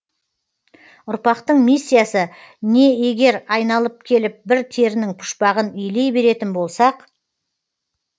ұрпақтың миссиясы не егер айналып келіп бір терінің пұшпағын илей беретін болсақ